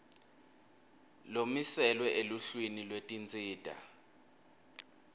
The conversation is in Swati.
lomiselwe eluhlwini lwetinsita